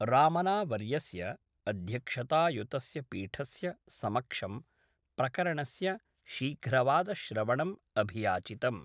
रामना वर्यस्य अध्यक्षतायुतस्य पीठस्य समक्षं प्रकरणस्य शीघ्रवादश्रवणं अभियाचितम्।